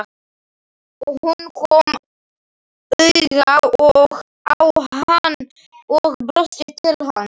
Hún kom auga á hann og brosti til hans.